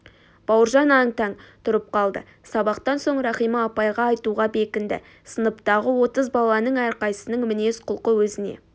бауыржан аң-таң тұрып қалды сабақтан соң рахима апайға айтуға бекінді сыныптағы отыз баланың әрқайсысының мінез-құлқы өзіне